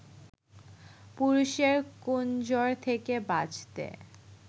পুরুষের 'কুনজর' থেকে বাঁচতে